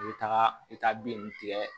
I bɛ taga i bɛ taa bin ninnu tigɛ